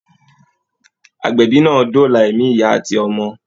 Àgbébì náà dọlà ẹ̀mi ìyá àti ọmọ.